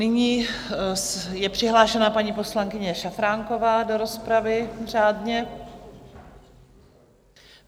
Nyní je přihlášená paní poslankyně Šafránková do rozpravy řádně.